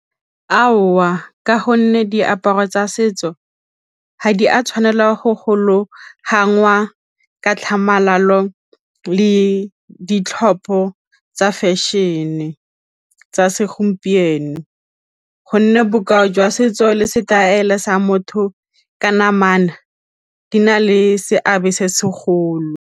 Aowa ka gonne diaparo tsa setso ga di a tshwanela go gologangwa ka tlhamalalo le ditlhopho tsa fashion-e tsa segompieno gonne bokao jwa setso le setaele sa motho ka namana di na le seabe se segolo.